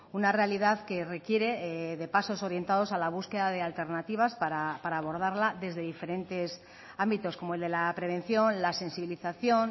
una realidad que requiere de pasos orientados a la búsqueda de alternativas para abordarla desde diferentes ámbitos como el de la prevención la sensibilización